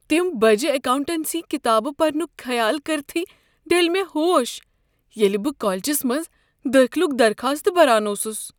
تم بجہ اکاونٹنسی کتابہٕ پرنک خیال کرۍتھٕے ڈٔلۍ مےٚ ہوش ییٚلہ بہٕ کالجس منٛز دٲخلک درخاست بران اوسس۔